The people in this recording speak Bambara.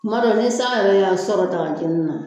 tuma dɔw i san yɛrɛ y'a sɔrɔ dagajeni na